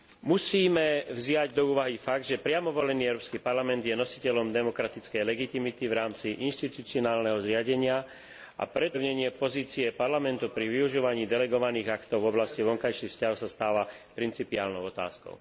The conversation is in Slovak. Musíme vziať do úvahy fakt, že priamo volený Európsky parlament je nositeľom demokratickej legitimity v rámci inštitucionálneho zriadenia, a preto upevnenie pozície Parlamentu pri využívaní delegovaných aktov v oblasti vonkajších vzťahov sa stáva principiálnou otázkou.